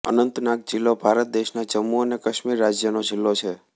અનંતનાગ જિલ્લો ભારત દેશના જમ્મુ અને કાશ્મીર રાજ્યનો જિલ્લો છે